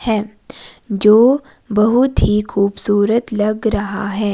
हैं जो बहुत ही खूबसूरत लग रहा है।